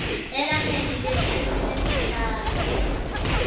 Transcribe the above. elangeni lelishumi nesihlanu